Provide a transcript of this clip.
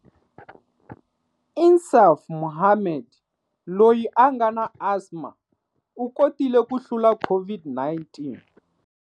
Insaaf Mohammed, loyi a nga na asma, u kotile ku hlula COVID-19.